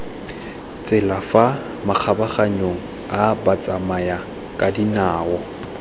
tsela fa makgabaganyong a batsamayakadinao